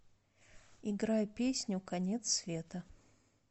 играй песню конец света